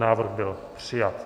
Návrh byl přijat.